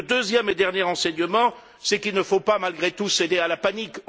Le deuxième et dernier enseignement, c'est qu'il ne faut pas malgré tout céder à la panique.